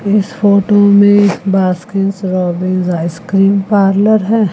इस फोटो में Baskin Robbins ice cream parlour है।